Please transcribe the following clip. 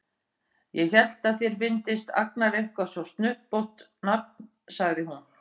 Ég hélt að þér fyndist Agnar eitthvað svo snubbótt nafn, sagði hún.